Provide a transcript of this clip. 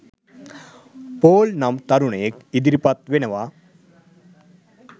Paul නම් තරුණයෙක් ඉදිරිපත් වෙනවා